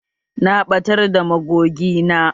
Na ɓatar da magogi na